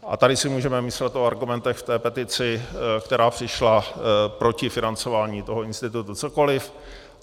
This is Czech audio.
A tady si můžeme myslet o argumentech v té petici, která přišla proti financování toho institutu, cokoliv.